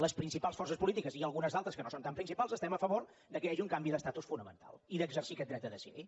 les principals forces polítiques i algunes d’altres que no són tan principals estem a favor que hi hagi un canvi d’estatus fonamental i d’exercir aquest dret a decidir